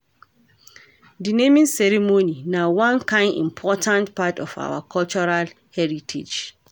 Di naming ceremony na one kain important part of our cultural heritage